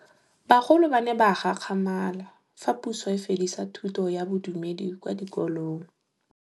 Bagolo ba ne ba gakgamala fa Pusô e fedisa thutô ya Bodumedi kwa dikolong.